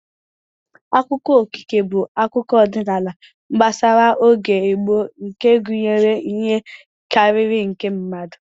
Akụkọ okike bụ akụkọ ọdịnala gbasara oge gboo nke gụnyere ihe karịrị nke mmadụ